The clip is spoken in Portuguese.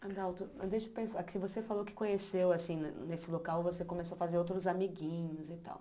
Adalto, deixa eu pensar, que você falou que conheceu, assim, nesse local, você começou a fazer outros amiguinhos e tal.